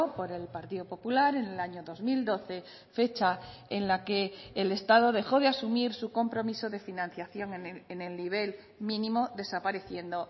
por el partido popular en el año dos mil doce fecha en la que el estado dejó de asumir su compromiso de financiación en el nivel mínimo desapareciendo